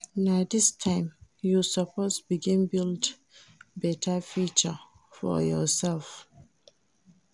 Na dis time you suppose begin build beta future for yoursef.